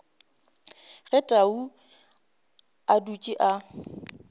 ge tau a dutše a